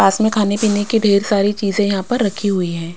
पास में खाने पीने की ढेर सारी चीजें यहां पर रखी हुई है।